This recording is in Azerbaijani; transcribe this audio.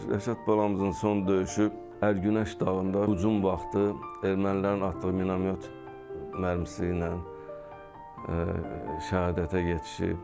Rəşad balamızın son döyüşü Ərgünəş dağında hücum vaxtı ermənilərin atdığı mina yox, mərmisi ilə şəhadətə yetişib.